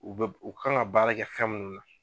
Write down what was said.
U bɛ u kan ka baara kɛ fɛn munnu na.